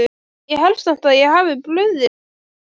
Ég held samt að ég hafi brugðist rétt við